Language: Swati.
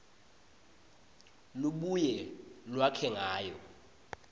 lubuye lwakhe ngayo